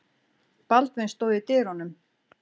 Baldvin stóð í dyrunum.